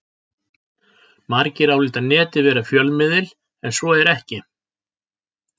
Margir álíta Netið vera fjölmiðil en svo er ekki.